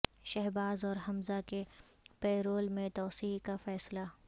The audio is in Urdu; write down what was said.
شہباز اور حمزہ کے پیرول میں توسیع کا فیصلہ